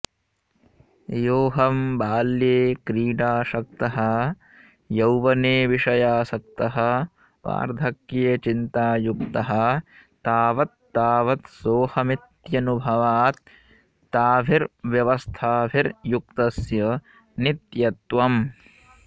योऽहं बाल्ये क्रीडासक्तः यौवने विषयासक्तः वार्धक्ये चिन्तायुक्तः तावत्तावत् सोऽहमित्यनुभवात् ताभिर्व्यवस्थाभिर्युक्तस्य नित्यत्वम्